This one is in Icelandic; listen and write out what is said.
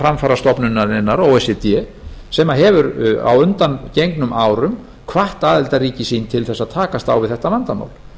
framfarastofnunarinnar o e c d sem hefur á undangengnum árum hvatt aðildarríki sín til þess að takast á við þetta vandamál